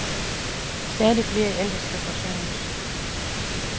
Stadig flere ældre skal forsørges.